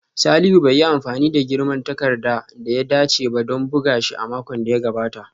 Salihu bai yi amfani da girman takarda da ya dace ba don buga shi a makon da ya gabata